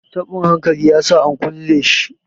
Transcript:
tabin hankalin ya sa a kulle shi